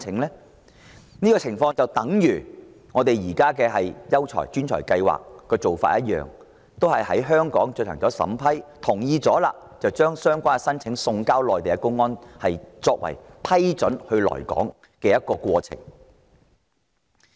這種做法類似本港現時吸引優才、專才的計劃，都是由香港政府審批申請並同意後，才把相關申請送交內地公安，完成批准申請人來港的程序。